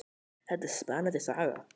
Þetta er spennandi saga.